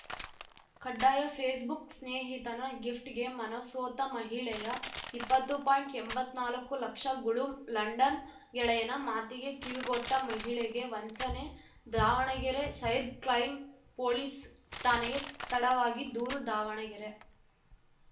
ಕಡ್ಡಾಯ ಫೇಸ್‌ಬುಕ್‌ ಸ್ನೇಹಿತನ ಗಿಫ್ಟ್‌ಗೆ ಮನಸೋತ ಮಹಿಳೆಯ ಇಪ್ಪತ್ತು ಪಾಯಿಂಟ್ಎಂಬತ್ನಾಲ್ಕು ಲಕ್ಷ ಗುಳುಂ ಲಂಡನ್‌ ಗೆಳೆಯನ ಮಾತಿಗೆ ಕಿವಿಗೊಟ್ಟಮಹಿಳೆಗೆ ವಂಚನೆ ದಾವಣಗೆರೆ ಸೈರ್ಬ್ ಕ್ರೈಂ ಪೊಲೀಸ್‌ ಠಾಣೆಗೆ ತಡವಾಗಿ ದೂರು ದಾವಣಗೆರೆ